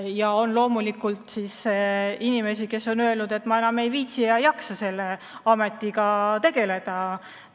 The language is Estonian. Ja on ka inimesi, kes on öelnud, et ma enam ei viitsi, ei jaksa selle ametiga tegeleda.